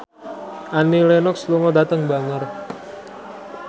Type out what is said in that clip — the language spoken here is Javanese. Annie Lenox lunga dhateng Bangor